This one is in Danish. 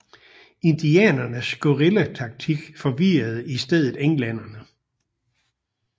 Indianernes guerillataktik forvirrede i stedet englænderne